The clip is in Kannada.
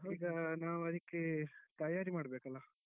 ಈಗ ನಾವು ಅದಿಕ್ಕೆ ತಯಾರಿ ಮಾಡ್ಬೇಕಲ್ಲ.